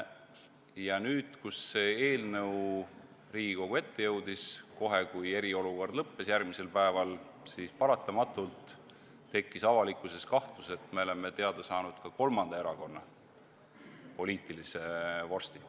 Ja nüüd, kui see eelnõu Riigikogu ette jõudis, kohe järgmisel päeval, kui eriolukord oli lõppenud, tekkis paratamatult avalikkuses kahtlus, et me oleme teada saanud ka kolmanda erakonna poliitilise vorsti.